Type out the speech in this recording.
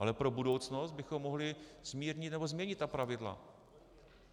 Ale pro budoucnost bychom mohli zmírnit nebo změnit ta pravidla.